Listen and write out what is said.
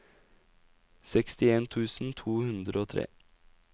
sekstien tusen to hundre og tre